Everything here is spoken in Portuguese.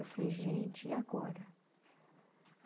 Eu falei, ''gente, e agora?''